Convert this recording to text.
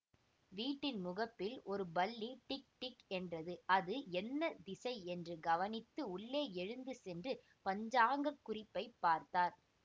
வீட்டின் முகப்பில் ஒரு பல்லி டிக் டிக் என்றது அது என்ன திசை என்று கவனித்து உள்ளே எழுந்து சென்று பஞ்சாங்கக் குறிப்பைப் பார்த்தார்